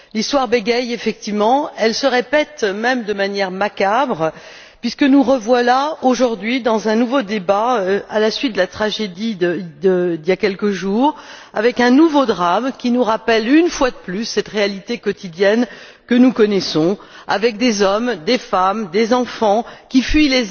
L'histoire bégaie effectivement, elle se répète même de manière macabre puisque nous revoilà, aujourd'hui, dans un nouveau débat, à la suite de la tragédie d'il y a quelques jours, avec un nouveau drame qui nous rappelle, une fois de plus, cette réalité quotidienne que nous connaissons, avec des hommes, des femmes et des enfants qui fuient